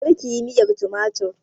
Karkiyi miyan tumatir